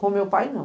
Com o meu pai, não.